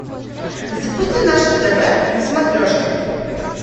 запусти наше тв на смотрешке